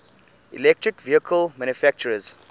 electric vehicle manufacturers